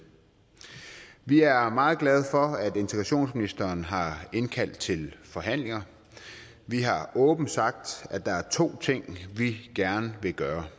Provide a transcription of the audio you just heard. vi er meget glade for at integrationsministeren har indkaldt til forhandlinger vi har åbent sagt at der er to ting vi gerne vil gøre